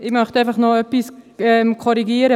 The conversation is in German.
Ich möchte einfach noch etwas korrigieren.